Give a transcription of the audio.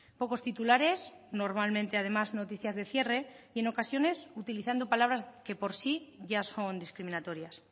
pocos titulares normalmente además noticias de cierre y en ocasiones utilizando palabras que por sí ya son discriminatorias